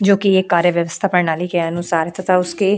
जो कि एक कार्य व्यवस्था प्रणाली के अनुसार तथा उसके --